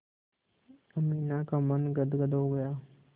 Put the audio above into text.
अमीना का मन गदगद हो गया